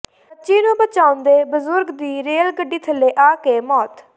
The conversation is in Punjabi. ਬੱਚੀ ਨੂੰ ਬਚਾਉਂਦੇ ਬਜ਼ੁਰਗ ਦੀ ਰੇਲ ਗੱਡੀ ਥੱਲੇ ਆ ਕੇ ਮੌਤ